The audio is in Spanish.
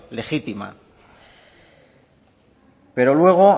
legítima pero luego